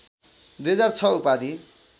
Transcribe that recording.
२००६ उपाधि